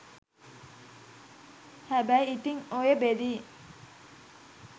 හැබැයි ඉතින් ඔය බෙදීම්